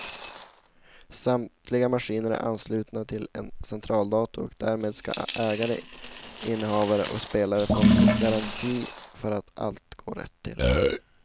Samtliga maskiner är anslutna till en centraldator och därmed ska ägare, innehavare och spelare få en garanti för att allt går rätt till.